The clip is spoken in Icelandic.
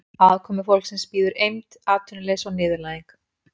Aðkomufólksins bíður eymd, atvinnuleysi og niðurlæging.